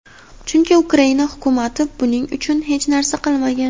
chunki Ukraina Hukumati buning uchun hech narsa qilmagan.